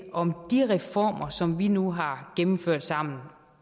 om de reformer som vi nu har gennemført sammen